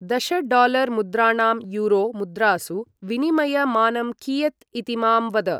दश डालर् मुद्राणां यूरो मुद्रासु विनिमय मानं कियत् इति मां वद